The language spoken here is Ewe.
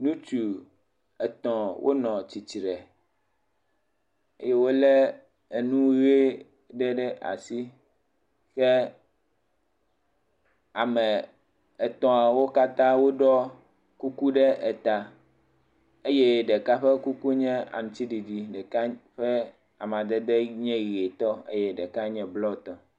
Ŋutsu etɔ̃ wonɔ tsitre eye wolé enu ʋe ɖe ɖe asi, kea me etɔ̃awo katã woɖɔ kuku ɖe eta eye ɖeka ƒe kuku nye aŋutiɖiɖi eye ɖeka ƒe amadede nye ʋe tɔ eye ɖeka nye blɔ tɔ.